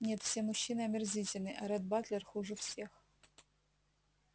нет все мужчины омерзительны а ретт батлер хуже всех